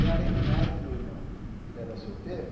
E, além do mais, o meu irmão ele era solteiro,